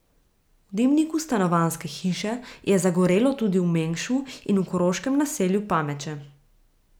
V dimniku stanovanjske hiše je zagorelo tudi v Mengšu in v koroškem naselju Pameče.